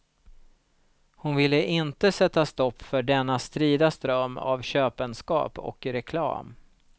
Hon ville inte sätta stopp för denna strida ström av köpenskap och reklam.